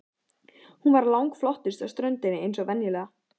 Hún var langflottust á ströndinni eins og venjulega.